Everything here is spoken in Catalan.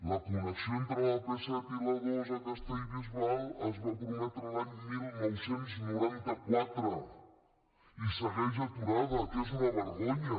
la connexió entre l’ap set i l’a dos a castellbisbal es va prometre l’any dinou noranta quatre i segueix aturada que és una vergonya